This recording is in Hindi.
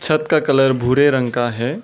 छत का कलर भूरे रंग का है।